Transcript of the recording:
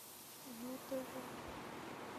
ю тв